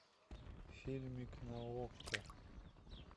фильмик на окко